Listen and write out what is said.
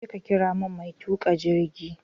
Jeka ƙira mun mai tuƙa jirgi!